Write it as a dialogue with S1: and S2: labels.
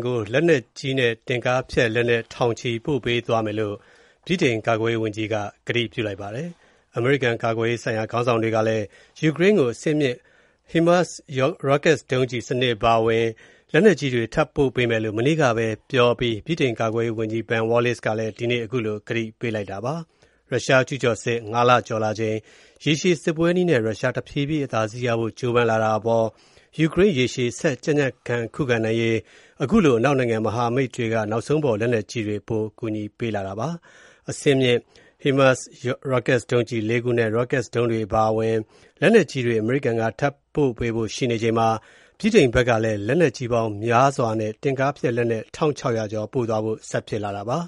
S1: ကို လက်နက်ကြီးနဲ့ တင့်ကားဖျက်လက်နက်ထောင်ချီ ပေးပို့ကူညီသွားမယ်လို့ ဗြိတိန် ကာကွယ်ရေးဝန်ကြီးက ပြောလိုက်ပါတယ်။ အမေရိကန်ကာကွယ်ရေးဆိုင်ရာခေါင်းဆောင်တွေကလည်း ယူကရိန်းကို အဆင့်မြင့် HIMARS ရော့ကက်ဒုံးစနစ်အပါအဝင် လက်နက်ကြီးတွေ ထပ်ပေးမယ်လို့ မနေ့က ပြောအပြီးမှာ ဗြိတိန်ကာကွယ်ရေးဝန်ကြီး Ben Wallace ကလည်း ဒီနေ့ ခုလို ကတိပေးလိုက်တာပါ။ ရုရှားကျုးကျော်စစ် ၅ လကျော်လာချိန်၊ ရေရှည်စစ်ပွဲနည်းနဲ့ ရုရှား တဖြည်းဖြည်း အသာစီးရဖို့ကြိုးပမ်းလာတာအပေါ်၊ ယူကရိန်း ရေရှည် ဆက်ကြံကြံခံ ခုခံနိုင်ရေး၊ အခုလို အနောက်နိုင်ငံ မဟာမိတ်တွေက နောက်ဆုံးပေါ်လက်နက်ကြီးတွေ ပိုကူညီပေးလာတာပါ။ အဆင့်မြင့် HIMARS ရော့ကတ်ဒုံးစနစ် ၄ ခုနဲ့ ရော့ကတ်ဒုံးတွေ အပါအဝင် လက်နက်ကြီးတွေ အမေရိကန်က ထပ်ပေးဖို့ရှိချိန်မှာ၊ ဗြိတိန်ဘက်ကလည်း လက်နက်ကြီးများစွာနဲ့ တင့်ကားဖျက်လက်နက် ၁၆၀၀ ကျော် ပို့သွားဖို့ ဆက်ဖြစ်လာတာပါ